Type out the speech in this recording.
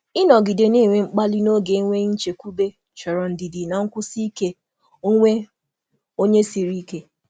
Ịnọgide na-enwe mkpali n’oge enweghị nchekwube chọrọ ndidi na nkwụsi ike onwe onye siri ike.